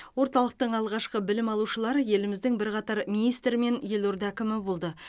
орталықтың алғашқы білім алушылары еліміздің бірқатар министрі мен елорда әкімі болды